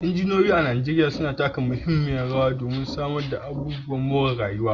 Injiniyoyi a Najeriya suna taka muhimmiyar rawa wajen samar da ababen more rayuwa